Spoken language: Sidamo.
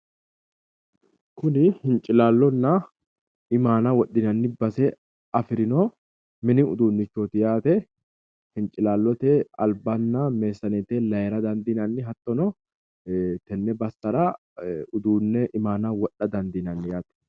Kuni hincilallonna imaana wo0dhinanni base afirino mini uduunnichoti yaate, hincilallote albanna meesseneete laayiira dandiinanni hattono tenne bassara uduunne imaana wodha dandiinanni yaate.